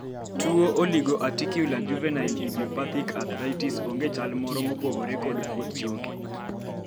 tuo oligoaticular juvenile idiopathic arthritis onge chal moro mopogore kod kuot choke